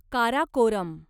Karakoram